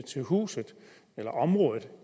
huset eller området